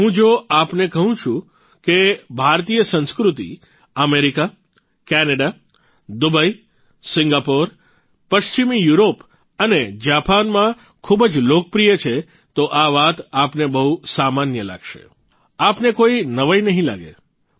હું જો આપને કહું કે ભારતીય સંસ્કૃતિ અમેરિકા કેનેડા દુબઇ સિંગાપુર પશ્ચિમી યુરોપ અને જાપાનમાં ખૂબ જ લોકપ્રિય છે તો આ વાત આપને બહુ સામાન્ય લાગશે આપને કોઇ નવાઇ નહીં લાગે